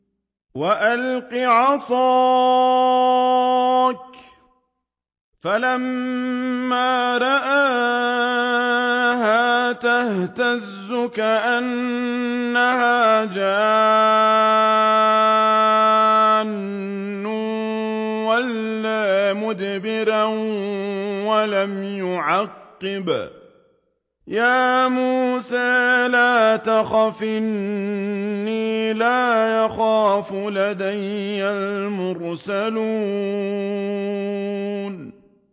وَأَلْقِ عَصَاكَ ۚ فَلَمَّا رَآهَا تَهْتَزُّ كَأَنَّهَا جَانٌّ وَلَّىٰ مُدْبِرًا وَلَمْ يُعَقِّبْ ۚ يَا مُوسَىٰ لَا تَخَفْ إِنِّي لَا يَخَافُ لَدَيَّ الْمُرْسَلُونَ